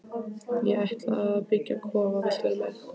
Ég ætla að byggja kofa, viltu vera með?